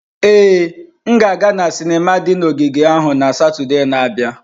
Ee, m ga-aga na sinima di na ogige ahụ na Satọde na-abịa.